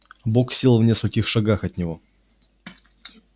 бог сел в нескольких шагах от него